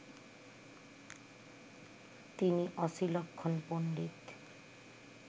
তিনি অসিলক্ষণ পণ্ডিত